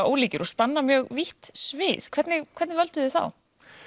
ólíkir og spanna mjög vítt svið hvernig hvernig völduð þið þá